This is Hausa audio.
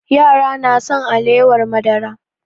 Yara na son alewar madara